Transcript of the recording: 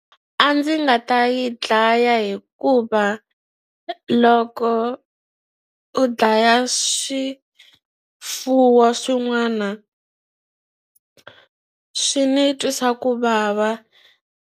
A ndzi nga ta yi dlaya hikuva loko u dlaya swifuwo swin'wana swi ni twisa ku vava.